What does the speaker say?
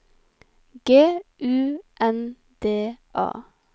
G U N D A